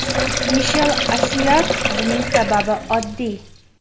Mishel Asiyag : Buning sababi oddiy.